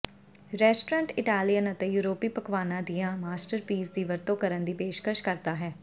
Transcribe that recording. restaurant Italian ਅਤੇ ਯੂਰਪੀ ਪਕਵਾਨਾਂ ਦੀਆਂ ਮਾਸਟਰਪੀਸ ਦੀ ਵਰਤੋਂ ਕਰਨ ਦੀ ਪੇਸ਼ਕਸ਼ ਕਰਦਾ ਹੈ